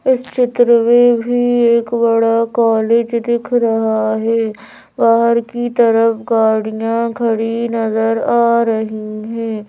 इस चित्र में भी एक बड़ा कॉलेज दिख रहा है बाहर की तरफ गाड़ियां खड़ी नजर आ रही हैं।